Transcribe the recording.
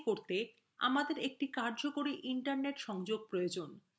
একটি অণু আমদানি করতে আমাদের একটি কার্যকরী internet সংযোগের প্রয়োজন